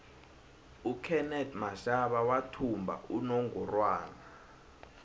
ukenethi mashaba wathumba inongorwana